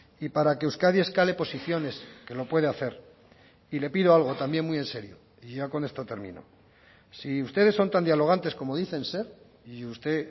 y para que euskadi escale posiciones que lo puede hacer y le pido algo también muy en serio y ya con esto termino si ustedes son tan dialogantes como dicen ser y usted